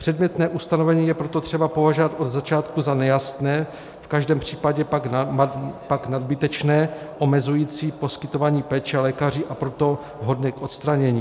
Předmětné ustanovení je proto třeba považovat od začátku za nejasné, v každém případě pak nadbytečné, omezující poskytování péče lékaři, a proto vhodné k odstranění.